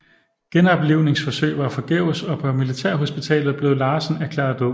Genoplivningsforsøg var forgæves og på militærhospitalet blev Larsson erklæret død